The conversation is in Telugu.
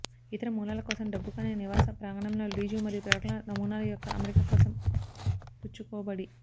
ఇతర మూలాల కోసం డబ్బు కాని నివాస ప్రాంగణంలో లీజు మరియు ప్రకటనల నమూనాలు యొక్క అమరిక కోసం పుచ్చుకోబడి